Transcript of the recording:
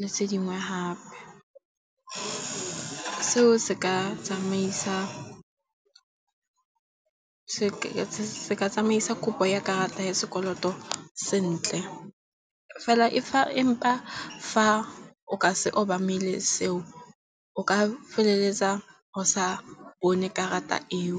le tse dingwe gape. Seo se ka tsamaisa kopo ya karata ya sekoloto sentle fela fa o ka se obamele seo o ka feleletsa go sa bone karata eo.